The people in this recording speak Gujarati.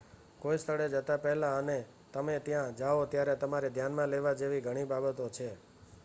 કોઈ સ્થળે જતા પહેલાં અને તમે ત્યાં જાઓ ત્યારે તમારે ધ્યાનમાં લેવા જેવી ઘણી બાબતો છે